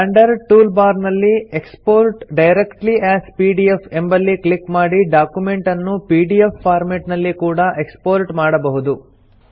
standard tool bar ನಲ್ಲಿ export directly as PDF ಎಂಬಲ್ಲಿ click ಮಾಡಿ ಡಾಕ್ಯುಮೆಂಟ್ ಅನ್ನು ಪಿಡಿಎಫ್ ಫಾರ್ಮೆಟ್ ನಲ್ಲಿ ಕೂಡಾ ಎಕ್ಸ್ಪೋರ್ಟ್ ಮಾಡಬಹುದು